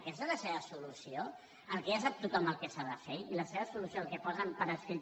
aquesta és la seva solució que ja sap tothom el que s’ha de fer i la seva solució el que posen per escrit